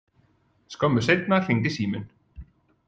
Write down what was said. Skömmu seinna hringdi síminn.